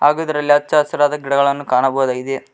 ಹಾಗೂ ಇದರಲ್ಲಿ ಹಚ್ಚಾ ಹಸಿರಾದ ಗಿಡಗಳನ್ನು ಕಾಣಬಹುದಾಗಿದೆ.